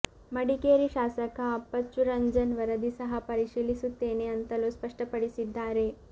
ಮಡಿಕೇರಿ ಶಾಸಕ ಅಪ್ಪಚ್ಚು ರಂಜನ್ ವರದಿ ಸಹ ಪರಿಶೀಲಿಸುತ್ತೇನೆ ಅಂತಲೂ ಸ್ಪಷ್ಟಪಡಿಸಿದ್ದಾರೆ